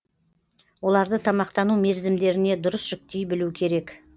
оларды тамақтану мерзімдеріне дұрыс жіктей білу керек